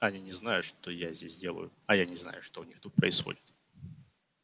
они не знают что я здесь делаю а я не знаю что у них тут происходит